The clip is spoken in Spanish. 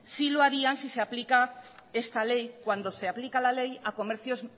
sí lo harían si se aplica esta ley cuando se aplica la ley a comercios